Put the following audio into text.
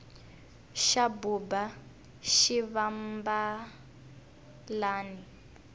xa buba xivambalani